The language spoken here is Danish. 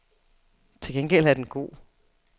Til gengæld er den god.